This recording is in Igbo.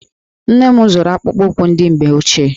Nne m zụrụ akpụkpọụkwụ ndị mgbe ochie.